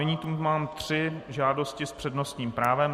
Nyní zde mám tři žádosti s přednostním právem.